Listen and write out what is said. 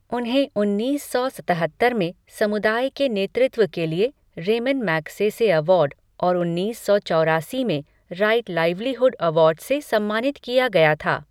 उन्हें उन्नीस सौ सतहत्तर में समुदाय के नेतृत्व के लिए रेमन मैग्सेसे अवार्ड और उन्निस सौ चौरासी में राइट लाइवलीहुड अवार्ड से सम्मानित किया गया था।